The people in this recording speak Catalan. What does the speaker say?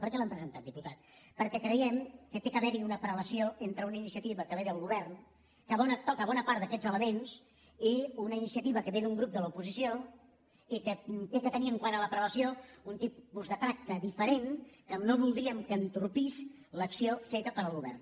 per què l’hem presentat diputat perquè creiem que ha d’haverhi una prelació entre una iniciativa que ve del govern que toca bona part d’aquests elements i una iniciativa que ve d’un grup de l’oposició i que ha de tenir quant a la prelació un tipus de tracte diferent que no voldríem que entorpís l’acció feta pel govern